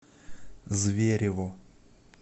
зверево